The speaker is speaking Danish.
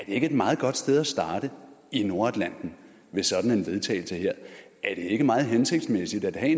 ikke et meget godt sted at starte i nordatlanten ved sådan vedtagelse er det ikke meget hensigtsmæssigt at have